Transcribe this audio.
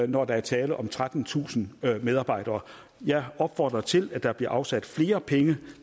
når der er tale om trettentusind medarbejdere jeg opfordrer til at der bliver afsat flere penge